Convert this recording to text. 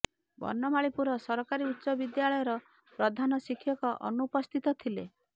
ବନମାଳୀପୁର ସରକାରୀ ଉଚ୍ଚ ବିଦ୍ୟାଳୟର ପ୍ରଧାନ ଶିକ୍ଷକ ଅନୁପସ୍ଥିତ ଥିଲେ